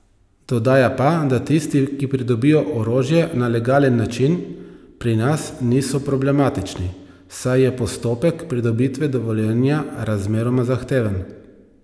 Dodaja pa, da tisti, ki pridobijo orožje na legalen način, pri nas niso problematični, saj je postopek pridobitve dovoljenja razmeroma zahteven.